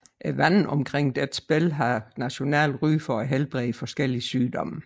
Vandene omkring Dzhebel har nationalt ry for at helbrede forskellige sygdomme